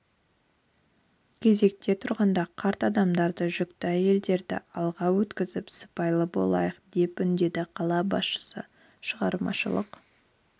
кезекте тұрғанда қарт адамдарды жүкті әйелдерді алға өткізіп сыпайы болайық деп үндеді қала басшысы шығармашылық